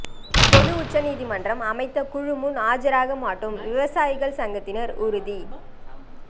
பொது உச்சநீதிமன்றம் அமைத்த குழு முன் ஆஜராக மாட்டோம் விவசாயிகள் சங்கத்தினர் உறுதி